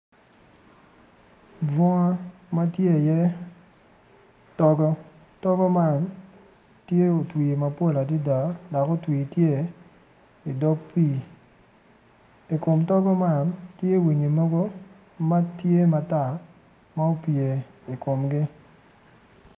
Bunga matye tye i ye togo togo man tye otwi mapol adada dok otwi tye i dog pii ikom togo man tye winyi mogo matye matar ma opye i komgi.